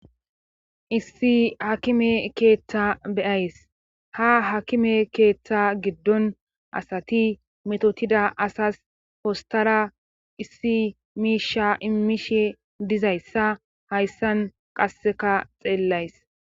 issi hakime keeththa beyays ha hakime keeththa giddon asati metotida asas postara issi miisha immishi dizayssa hayssan qasseka xeellays